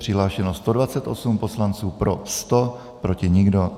Přihlášeno 128 poslanců, pro 100, proti nikdo.